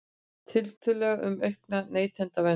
Tillögur um aukna neytendavernd